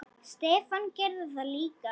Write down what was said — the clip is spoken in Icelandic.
Stefán gerði það líka.